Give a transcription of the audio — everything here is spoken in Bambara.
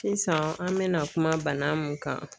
Sisan an bɛna kuma bana mun kan